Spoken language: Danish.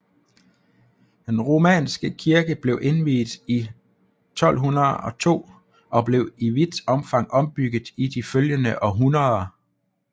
Den romanske kirke blev indviet i 1202 og blev i vidt omfang ombygget i de følgende århundreder